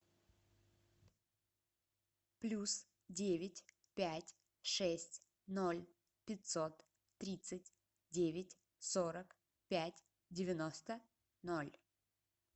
плюс девять пять шесть ноль пятьсот тридцать девять сорок пять девяносто ноль